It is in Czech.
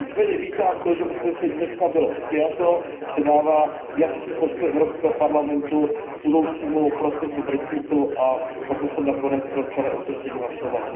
Nicméně vítám to, že usnesení dneska bylo přijato, že dává jasný postoj Evropského parlamentu k budoucímu procesu brexitu, a proto jsem nakonec pro celé usnesení hlasoval.